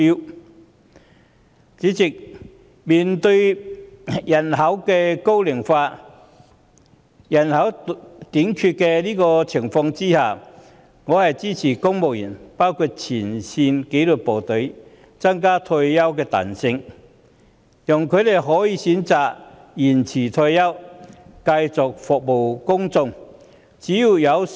代理主席，面對人口老齡化及多種職位出現人手短缺的情況下，我支持增加公務員退休年齡限制的彈性，讓他們可以選擇延遲退休，繼續服務市民。